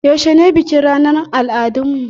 Yaushe ne bikin ranar al'adun mu?